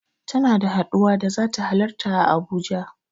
Tana da haɗuwa da zata halarta a Abuja.